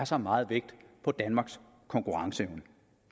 så meget vægt på danmarks konkurrenceevne